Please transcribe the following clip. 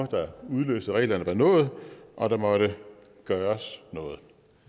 der udløste reglerne var nået og der måtte gøres noget